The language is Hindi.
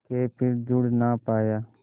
के फिर जुड़ ना पाया